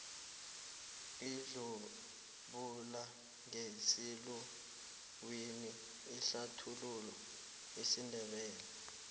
idzubulangesiluwini ihlathulula isindebele